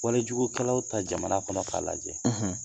Walejugukɛlaw ta jamana kɔnɔ k'a lajɛ